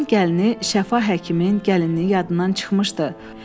Evelin gəlini Şəfa həkimin gəlininin yadından çıxmışdı.